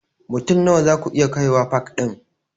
Mutum Nawa zaku iya kaiwa pak ɗin?